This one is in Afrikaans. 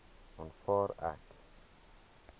aanvaar ek